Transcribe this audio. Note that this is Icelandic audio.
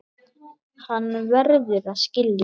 Hann verður að skilja.